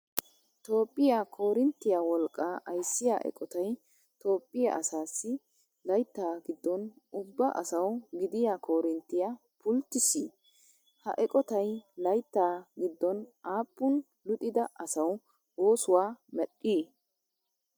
Tophphiyaa koorinttiyaa wolqqaa ayssiyaa eqotay tophphiyaa asaassi layttaa gidoon ubba asaw gidiyaa koorinttiya pulttisii? Ha eqotay layttaa gidoon aapuun luxida asawu oosuwaa medhdhi?